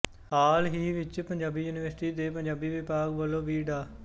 ਹਾਲ ਹੀ ਵਿੱਚ ਪੰਜਾਬੀ ਯੂਨੀਵਰਸਿਟੀ ਦੇ ਪੰਜਾਬੀ ਵਿਭਾਗ ਵੱਲੋ ਵੀ ਡਾ